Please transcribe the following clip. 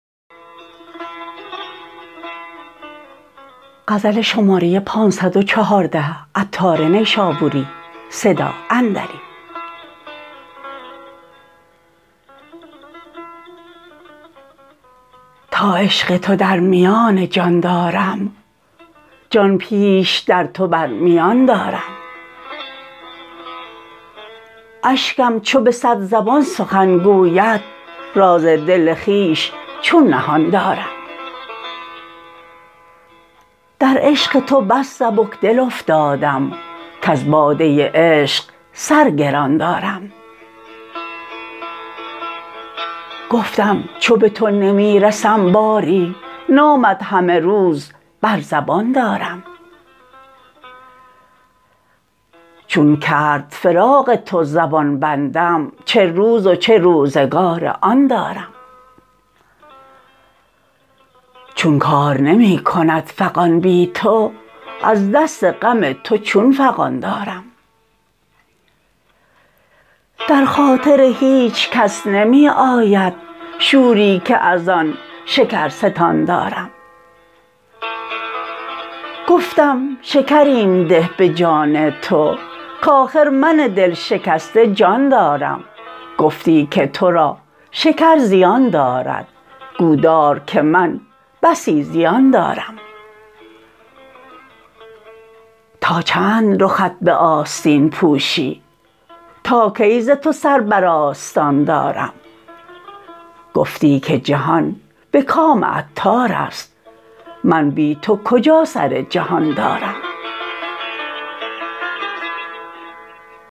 تا عشق تو در میان جان دارم جان پیش در تو بر میان دارم اشکم چو به صد زبان سخن گوید راز دل خویش چون نهان دارم در عشق تو بس سبکدل افتادم کز باده عشق سر گران دارم گفتم چو به تو نمی رسم باری نامت همه روز بر زبان دارم چون کرد فراق تو زبان بندم چه روز و چه روزگار آن دارم چون کار نمی کند فغان بی تو از دست غم تو چون فغان دارم در خاطر هیچکس نمی آید شوری که از آن شکرستان دارم گفتم شکریم ده به جان تو کاخر من دلشکسته جان دارم گفتی که تو را شکر زیان دارد گو دار که من بسی زیان دارم تا چند رخت به آستین پوشی تا کی ز تو سر بر آستان دارم گفتی که جهان به کام عطار است من بی تو کجا سر جهان دارم